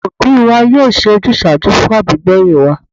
Àwọn òbí wa yóò ṣe ojúsàájú fún àbígbẹ̀yìn wa